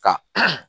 Ka